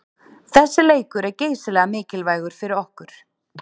Þessi leikur er geysilega mikilvægur fyrir okkur.